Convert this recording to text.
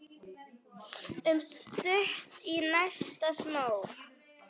Stutt í næsta smók.